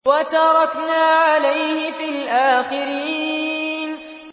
وَتَرَكْنَا عَلَيْهِ فِي الْآخِرِينَ